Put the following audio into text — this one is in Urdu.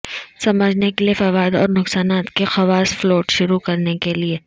سمجھنے کے لئے فوائد اور نقصانات کے خواص فلوٹ شروع کرنے کے لئے